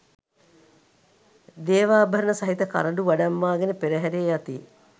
දේවාභරණ සහිත කරඬු වඩම්වා ගෙන පෙරහැරේ යති.